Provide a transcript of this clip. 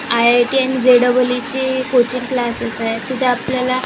IIT आणि J double E ची coaching classes आहे तिथे आपल्याला--